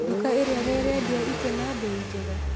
Nduka ĩrĩa nĩirendia itĩ na mbei njega?